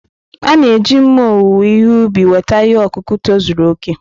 A na-eji mma owuwe ihe ubi weta ihe ọkụkụ tozuru okè.